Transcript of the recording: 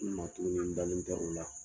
I na togoni nin, n dalen tɛ o la